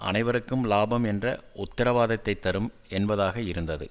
அனைவருக்கும் இலாபம் என்ற உத்தரவாதத்தைத் தரும் என்பதாக இருந்தது